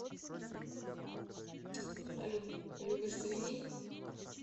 салют любишь свиней